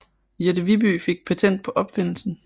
Jette Viby fik patent på opfindelsen